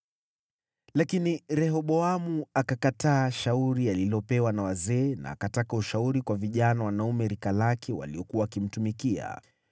Lakini Rehoboamu akakataa shauri alilopewa na wazee na akataka ushauri kwa vijana wanaume rika lake waliokuwa wakimtumikia.